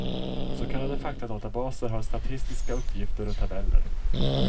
Så kallade faktadatabaser har statistiska uppgifter och tabeller.